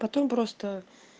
потом просто